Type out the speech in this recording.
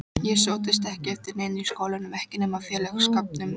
Ég sóttist ekki eftir neinu í skólanum, ekki nema félagsskapnum.